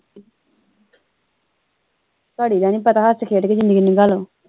ਘੜੀ ਦਾ ਨਹੀਂ ਪਤਾ ਹੱਸ ਖੇਡ ਕੇ ਜ਼ਿੰਦਗੀ ਨਗਾਲੋ